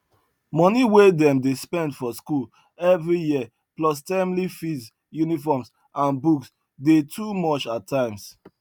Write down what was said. money wey dem dey spend for school every year plus termly fees uniforms and books dey too much at times